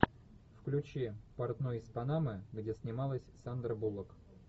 включи портной из панамы где снималась сандра буллок